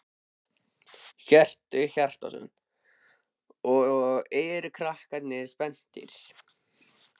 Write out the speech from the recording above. Hjörtur Hjartarson: Og eru krakkarnir spenntir?